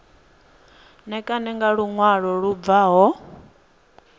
ṋekane nga luṅwalo lu bvaho